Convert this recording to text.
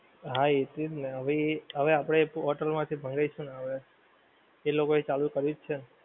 હા એટલે જ ને હવે એ હવે આપડે હોટેલ માંથી જ મંગાવીશું ને હવે. એ લોકો એ ચાલુ કર્યું છે ને.